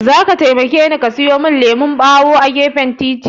Zaka taimakeni ka siyo min lemukan ɓawo a gefen titin.